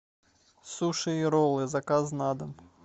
суши и роллы заказ на дом